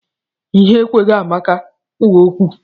Ihere ekweghị Amaka kwuo okwu.